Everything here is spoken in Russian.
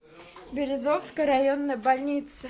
березовская районная больница